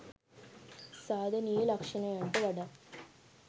සාධනීය ලක්ෂණයන්ට වඩා